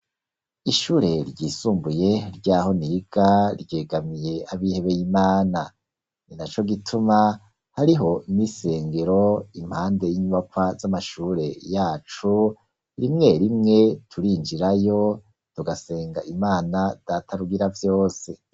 Ishure ryisumbuye ry'aho niga, ryegamiye abihebeye Imana; ni na co gituma, hariho n'isengero impande y'inyubakwa z'amashure yacu, rimwe rimwe turinjirayo, tugasenga Imana data Rugiravyose.